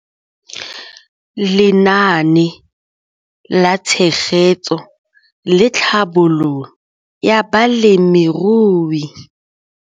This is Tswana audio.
Lenaane la Tshegetso le Tlhabololo ya Balemirui